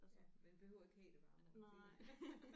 Ja man behøver ikke have det varmere det øh